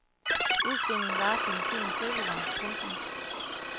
Udstillingen varer til den tiende februar. punktum